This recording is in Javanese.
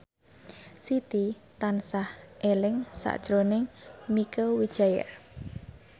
Siti tansah eling sakjroning Mieke Wijaya